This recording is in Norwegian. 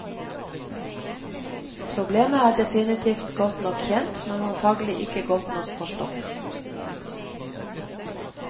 Problemet er definitivt godt nok kjent, men antagelig ikke godt nok forstått.